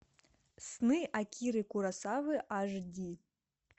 сны акиры куросавы аш ди